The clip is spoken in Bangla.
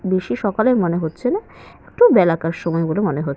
বেশি সকালের মনে হচ্ছে না। একটু বেলাকার সময় বলে মনে হ--